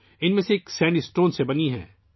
ان میں سے ایک سینڈ اسٹون سے بنی ہے